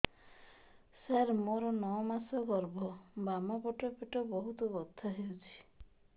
ସାର ମୋର ନଅ ମାସ ଗର୍ଭ ବାମପାଖ ପେଟ ବହୁତ ବଥା ହଉଚି